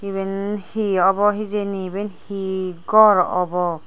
eben he obo hejani eben he gor obo.